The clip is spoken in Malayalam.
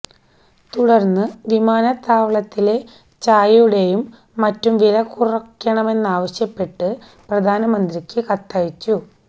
തുടർന്ന് വിമാനത്താവളങ്ങളിലെ ചായുടെയും മറ്റും വിലകുറക്കണമെന്നാവശ്യപ്പെട്ട് പ്രധാന മന്ത്രിക്ക് കത്തയച്ചു